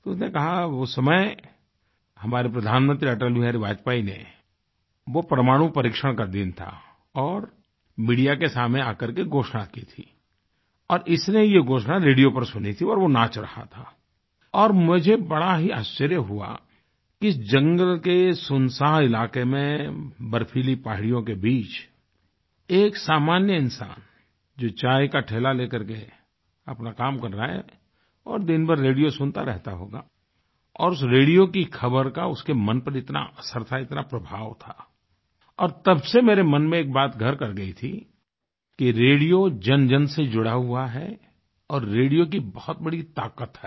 तो उसने कहा उस समय हमारे प्रधानमंत्री अटल बिहारी वाजपेयी ने वो परमाणु परीक्षण का दिन था और मीडिया के सामने आकर के घोषणा की थी और इसने ये घोषणा रेडियो पर सुनी थी और नाच रहा था और मुझे बड़ा ही आश्चर्य हुआ कि इस जंगल के सुनसान इलाके में बर्फीली पहाड़ियों के बीच एक सामान्य इंसान जो चाय का ठेला लेकर के अपना काम कर रहा है और दिनभर रेडियो सुनता रहता होगा और उस रेडियो की ख़बर का उसके मन पर इतना असर था इतना प्रभाव था और तब से मेरे मन में एक बात घर कर गयी थी कि रेडियो जनजन से जुड़ा हुआ है और रेडियो की बहुत बड़ी ताकत है